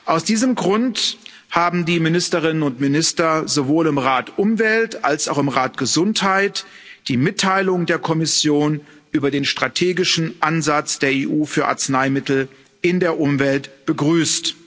Aus diesem Grund haben die Ministerinnen und Minister sowohl im Rat Umwelt als auch im Rat Gesundheit die Mitteilung der Kommission über den strategischen Ansatz der EU für Arzneimittel in der Umwelt begrüßt.